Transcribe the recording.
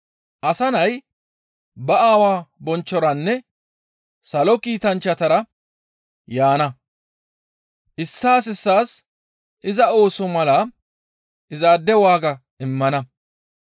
Asa Nay ba Aawa bonchchoranne salo kiitanchchatara yaana; issaas issaas iza ooso mala izaade waaga immana.